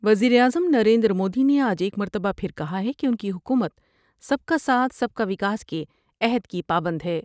وز یر اعظم نریندرمودی نے آج ایک مرتبہ پھر کہا ہے کہ ان کی حکومت سب کا ساتھ سب کا وکاس کے عہد کی پابند ہے ۔